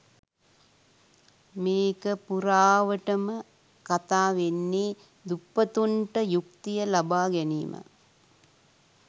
මේක පුරාවටම කතා වෙන්නේ දුප්පතුන්ට යුක්තිය ලබා ගැනීම